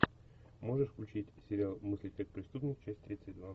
можешь включить сериал мыслить как преступник часть тридцать два